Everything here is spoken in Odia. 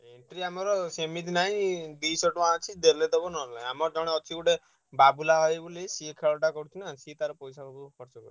Entry ଆମର ସେମିତି ନାହିଁ ଦିସହ ଟଙ୍କା ଅଛି ଦେଲେ ଦବ ନହେଲେ ନାଇଁ। ଆମର ଟାଣେ ଅଛି ଗୋଟେ ବାବୁଲା ଭାଇ ବୋଲି ସିଏ ଖେଳଟା କ ରୁଚି ନା ସିଏ ତାର ପଇସା ପତ୍ର ଖର୍ଚ କରୁଚି।